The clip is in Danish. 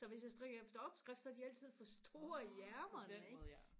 så hvis jeg strikker efter opskrift så er de altid for store i ærmerne ikke